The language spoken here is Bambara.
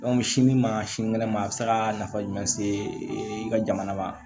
sini ma sinikɛnɛ ma a bɛ se ka nafa jumɛn se e ka jamana ma